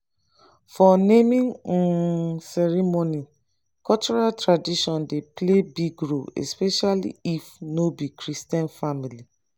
for naming um ceremony cultural tradition dey play big role especially if no be christian family